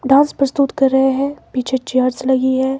Dance प्रस्तुत कर रहे हैं पीछे चेयर्स लगी है।